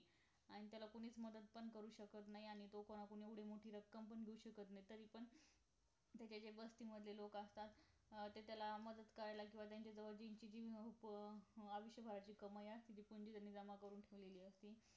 आणि त्याला कोणीच करू मदत पण शकत नाही. आणि तो कोणाकडून एवढी मोठी रक्कम पण घेऊ शकत नाही तरी पण त्याच्या बस्तीमध्ये जे लोक असतात ते त्याला मदत करायला किंवा त्यांच्या जवळ जी जी महत्वाची आयुष्यभराची कमाई असते कोणी कोणी जमा करून ठेवलेली असते